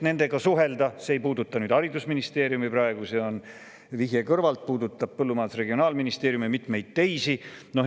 See nüüd ei puuduta haridusministeeriumit, see on vihje teie kõrval olevale ja puudutab Regionaal- ja Põllumajandusministeeriumit ning mitmeid teisi.